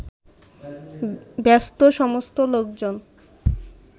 ব্যস্তসমস্ত লোকজন